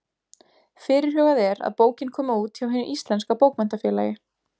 Fyrirhugað er að bókin komi út hjá Hinu íslenska bókmenntafélagi.